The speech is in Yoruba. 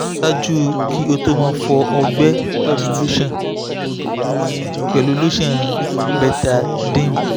ṣaaju ki o to mo fọ ọgbẹ pẹlu lotion pẹlu lotion betadyne